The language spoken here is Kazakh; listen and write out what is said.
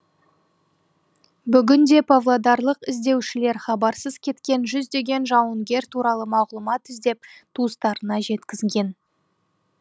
бүгінде павлодарлық іздеушілер хабарсыз кеткен жүздеген жауынгер туралы мағлұмат іздеп туыстарына жеткізген